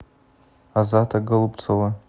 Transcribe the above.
азата голубцова